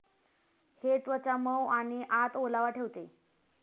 हे त्वचा मऊ आणि आत ओलावा ठेवते.